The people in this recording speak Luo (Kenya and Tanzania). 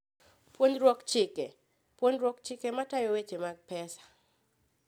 Puonjruok Chike: Puonjo ji chike matayo weche mag pesa.